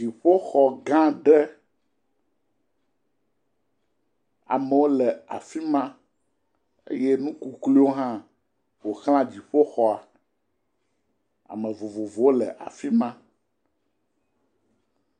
Dziƒoxɔ gã aɖe, amewo le afi ma eye nukukluiwo hã ƒo ʋlã dziƒoxɔa. Ame vovovowo le afi ma.